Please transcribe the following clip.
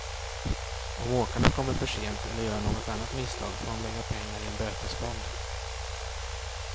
Om åkarna kommer försent eller gör något annat misstag får de lägga pengar i en bötesfond.